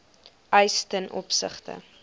eis ten opsigte